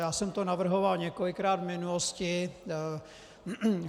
Já jsem to navrhoval několikrát v minulosti.